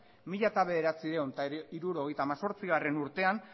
mila bederatziehun eta hirurogeita hemezortziurtean